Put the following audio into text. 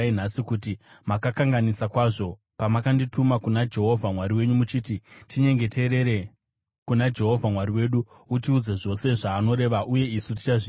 kuti makakanganisa kwazvo pamakandituma kuna Jehovha Mwari wenyu muchiti, ‘Tinyengeterere kuna Jehovha Mwari wedu, utiudze zvose zvaanoreva uye isu tichazviita.’